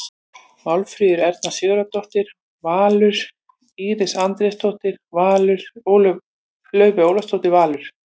Málfríður Erna Sigurðardóttir- Valur Íris Andrésdóttir- Valur Laufey Ólafsdóttir- Valur